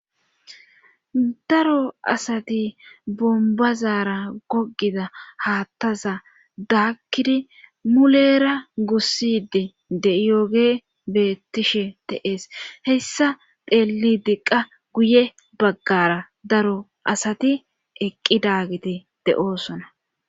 daro asati bombazaara gogida haattaza daakkidi mulera gussidi de yooge beettishe teees hessa pheelli diqqa guye baggara daro asati eqqi daagiti de7oosona